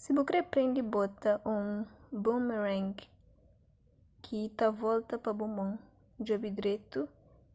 si bu kre prende bota un boomerang ki ta volta pa bu mon djobe dretu